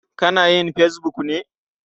Kana yin fesbuk ne?